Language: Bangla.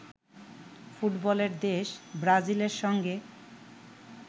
ফুটবলের দেশ ব্রাজিলের সঙ্গে